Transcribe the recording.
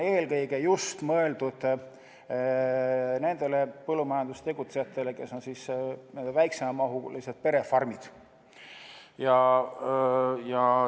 Eelkõige on see mõeldud just nendele põllumajanduses tegutsejatele, kellel on väikesemamahulised perefarmid.